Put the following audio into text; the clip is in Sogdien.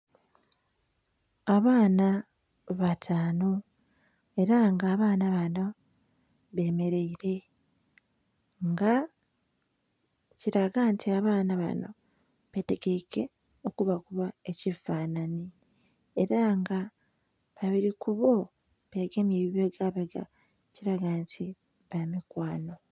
Abaana batanu era nga abaana banho bemereire nga kilaga nti abaana banho betegeike okuba kuba ekifananhi era nga babiri kubo begemye ku bibega bega ekilaga nti bamikwanho.